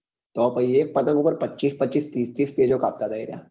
તો પછી એક પતંગ પર પચીસ પચીસ ત્રીસ ત્રીસ પેચો કાપતા હતા એ રહ્યા ધાબા સુજાવાદી દે આખા